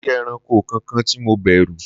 kòsí ẹranko kankan ti mo bèrù